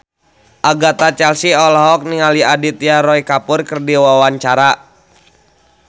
Agatha Chelsea olohok ningali Aditya Roy Kapoor keur diwawancara